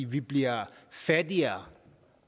vi bliver fattigere